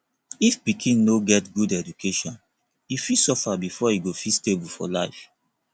if pikin no get good education e fit suffer before e go fit stable for life